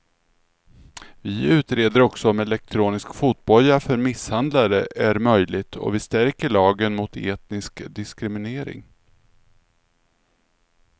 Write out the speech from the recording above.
Vi utreder också om elektronisk fotboja för misshandlare är möjligt och vi stärker lagen mot etnisk diskriminering.